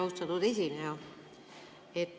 Austatud esineja!